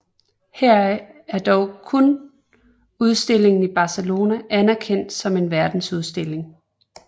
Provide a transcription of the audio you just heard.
Heraf er dog kun udstillingen i Barcelona anerkendt som en verdensudstilling